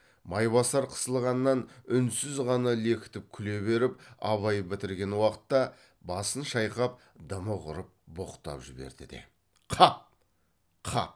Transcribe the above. майбасар қысылғаннан үнсіз ғана лекітіп күле беріп абай бітірген уақытта басын шайқап дымы құрып боқтап жіберді де қап қап